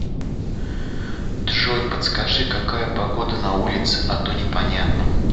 джой подскажи какая погода на улице а то непонятно